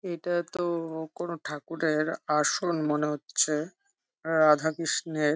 এটা তো ও কোন ঠাকুরের আসন মনে হচ্ছে রাধাকৃষ্ণের --